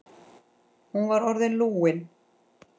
Hún var orðin lúin.